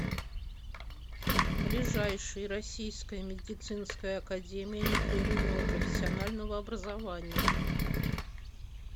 ближайший российская медицинская академия непрерывного профессионального образования